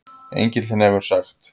Engillinn hefur sagt